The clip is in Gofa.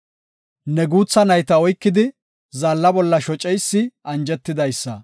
Ne guutha nayta oykidi, zaalla bolla shoceysi anjetidaysa.